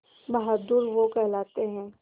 बहादुर वो कहलाते हैं